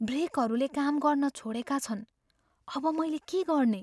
ब्रेकहरूले काम गर्न छोडेका छन्। अब, मैले के गर्ने?